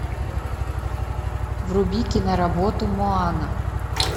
вруби киноработу моана